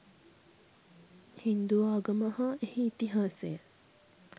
හින්දු ආගම හා එහි ඉතිහාසය